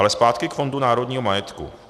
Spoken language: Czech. Ale zpátky k Fondu národního majetku.